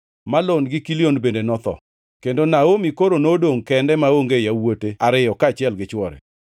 Malon gi Kilion bende notho, kendo Naomi koro nodongʼ kende maonge yawuote ariyo kaachiel gi chwore.